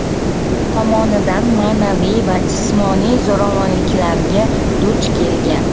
tomonidan ma’naviy va jismoniy zo‘ravonliklarga duch kelgan.